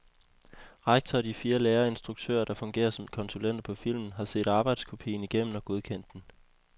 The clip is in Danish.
Rektor og de lærere og instruktører, der fungerer som konsulenter på filmen, har set arbejdskopien igennem og godkendt den.